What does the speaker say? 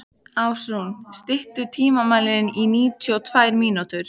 Ásrún, stilltu tímamælinn á níutíu og tvær mínútur.